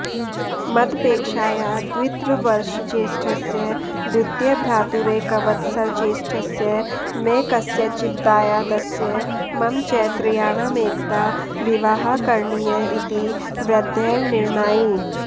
मदपेक्षाया द्वित्रवर्षज्येष्ठस्य द्वितीयभ्रातुरेकवत्सरज्येष्ठस्य मे कस्यचिद्दायादस्य मम च त्रयाणामेकदा विवाहः करणीय इति वृद्धैर्निरणायि